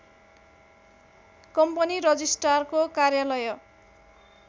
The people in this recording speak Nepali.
कम्पनी रजिष्ट्रारको कार्यालय